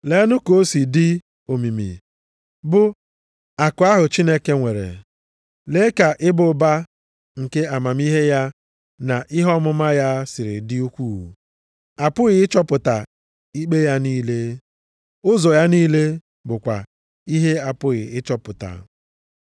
Leenụ ka o si dị omimi bụ akụ ahụ Chineke nwere! Lee ka ịba ụba nke amamihe ya na ihe ọmụma ya siri dị ukwuu! Apụghị ịchọpụta ikpe ya niile, ụzọ ya niile bụkwa ihe apụghị ịchọpụta.